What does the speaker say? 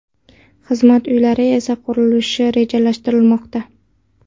Xizmat uylari esa qurilishi rejalashtirilmoqda.